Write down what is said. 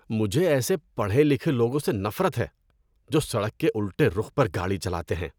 مجھے ایسے پڑھے لکھے لوگوں سے نفرت ہے جو سڑک کے الٹے رخ پر گاڑی چلاتے ہیں۔